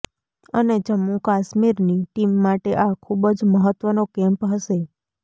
અને જમ્મુ કાશ્મીરની ટીમ માટે આ ખૂબ જ મહત્વનો કેમ્પ હશે